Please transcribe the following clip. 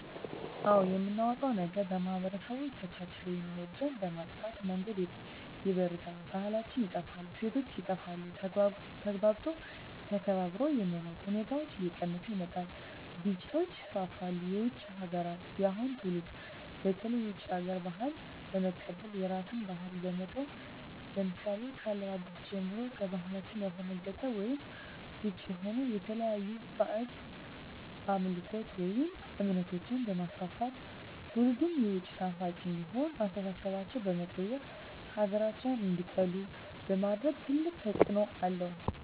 አዎ የምናጣዉ ነገር ማህበረሰቦች ተቻችለዉ የሚኖሩትን በመጥፋ መንገድ ይበርዛል ባህላችን ይጠፋል እሴቶች ይጠፋል ተግባብቶ ተከባብሮ የመኖር ሁኔታዎች እየቀነሰ ይመጣል ግጭቶች ይስፍፍሉ የዉጭ ሀገራትን የአሁኑ ትዉልድ በተለይ የዉጭ ሀገር ባህልን በመቀበል የራስን ባህል በመተዉ ለምሳሌ ከአለባበስጀምሮ ከባህላችን ያፈነቀጠ ወይም ዉጭ የሆነ የተለያዩ ባእጅ አምልኮችን ወይም እምነቶችንበማስፍፍት ትዉልዱም የዉጭ ናፋቂ እንዲሆን አስተሳሰባቸዉ በመቀየር ሀገራቸዉን እንዲጠሉ በማድረግ ትልቅ ተፅዕኖ አለዉ